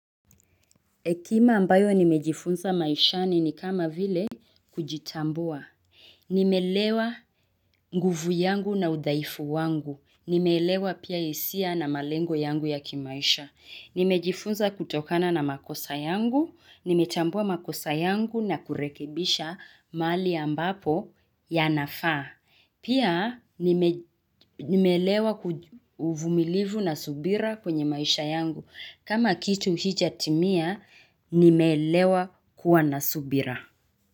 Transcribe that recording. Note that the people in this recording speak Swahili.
Ekima ambayo nimejifunza maishani ni kama vile kujitambua. Nimelewa nguvu yangu na udhaifu wangu. Nimeelewa pia hisia na malengo yangu ya kimaisha. Nimejifunza kutokana na makosa yangu. Nimetambua makosa yangu na kurekebisha mahali ambapo yanafaa pia nimeelewa uvumilivu na subira kwenye maisha yangu. Kama kitu hijatimia, nimeelewa kuwa nasubira.